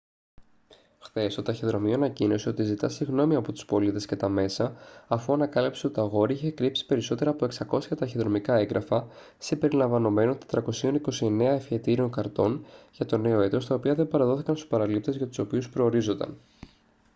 χθες το ταχυδρομείο ανακοίνωσε ότι ζητά συγγνώμη από τους πολίτες και τα μέσα αφού ανακάλυψε ότι το αγόρι είχε κρύψει περισσότερα από 600 ταχυδρομικά έγγραφα συμπεριλαμβανομένων 429 ευχετήριων καρτών για το νέο έτος τα οποία δεν παραδόθηκαν στους παραλήπτες για τους οποίους προορίζονταν